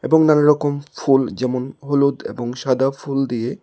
এবং নানারকম ফুল যেমন- হলুদ এবং সাদা ফুল দিয়ে--